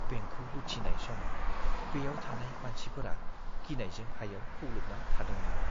बेंकखौ लुथिनाय समाव बेयाव थानाय मानसिफोरा गिनायजों हायाव खुग्लुबना थादोंमोन।